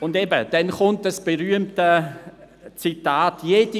Und dann kommt das berühmte Zitat: «